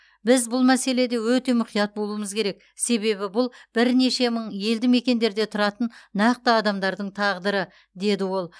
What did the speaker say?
біз бұл мәселеде өте мұқият болуымыз керек себебі бұл бірнеше мың елді мекендерде тұратын нақты адамдардың тағдыры деді ол